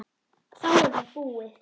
Þá er það búið.